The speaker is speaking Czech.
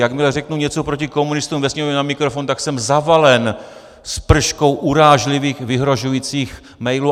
Jakmile řeknu něco proti komunistům ve Sněmovně na mikrofon, tak jsem zavalen sprškou urážlivých vyhrožujících mailů.